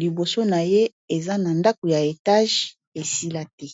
liboso na ye eza na ndako ya etage esila te